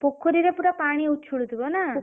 ପୋଖରୀରେ ପୁରା ପାଣି ଉଛୁଲୁଥିବ ନା?